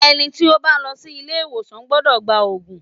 Ẹni tí ó bá lọ sí ilé ìwòsàn gbọ́dọ̀ gba òògùn.